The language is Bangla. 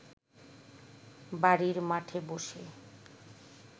বাড়ির মাঠে বসে